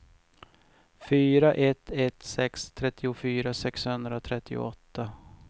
fyra ett ett sex trettiofyra sexhundratrettioåtta